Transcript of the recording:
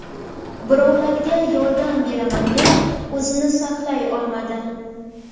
Birovlarga yordam beraman deb o‘zini saqlay olmadi.